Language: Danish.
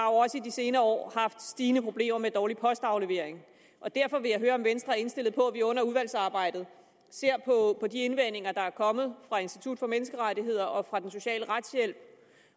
også i de senere år haft stigende problemer med dårlig postaflevering derfor vil jeg høre om venstre er indstillet på at vi under udvalgsarbejdet ser på de indvendinger der er kommet fra institut for menneskerettigheder og fra den sociale retshjælp